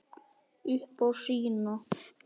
Upp á sína.